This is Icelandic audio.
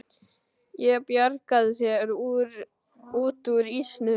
Ég bjargaði þér út úr ísnum.